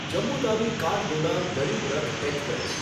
Jammu Tawi Kathgodam Garib Rath express